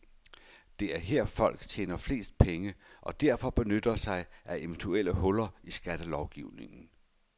Det er her, folk tjener flest penge, og derfor benytter sig af eventuelle huller i skattelovgivningen.